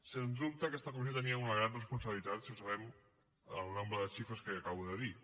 sens dubte aquesta comissió tenia una gran responsabilitat si observem el nombre de xifres que acabo de dir